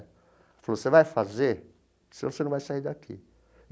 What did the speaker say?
Ela falou, você vai fazer, senão você não vai sair daqui.